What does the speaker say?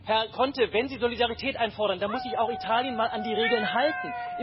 Herr Conte, wenn Sie Solidarität einfordern, dann muss sich auch Italien mal an die Regeln halten.